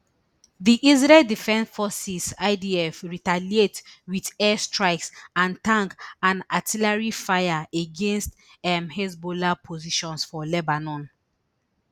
di israel defense forces idf retaliate wit air strikes and tank and artillery fire against um hezbollah positions for lebanon